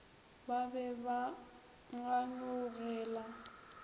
ba be ba ba kganyogela